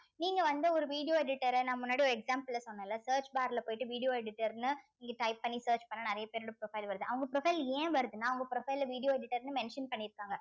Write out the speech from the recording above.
நீங்க வந்து ஒரு video editor அ நான் முன்னாடி ஒரு example ல சொன்னேன்ல search bar ல போயிட்டு video editor ன்னு இங்க type பண்ணி search பண்ணா நிறைய பேரோட profile வருது அவுங்க profile ஏன் வருதுன்னா அவுங்க profile ல video editor ன்னு mention பண்ணியிருக்காங்க